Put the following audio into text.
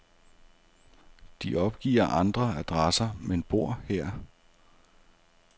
De opgiver andre adresser, men bor her.